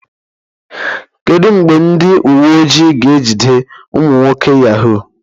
Kedu mgbe ndị uwe ojii ga-ejide ụmụ nwoke Yahoo?